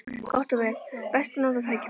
Gott og vel: best að nota tækifærið.